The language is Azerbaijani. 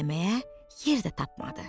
Gecələməyə yer də tapmadı.